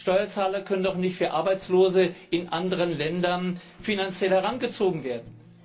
Steuerzahler können doch nicht für Arbeitslose in anderen Ländern finanziell herangezogen werden.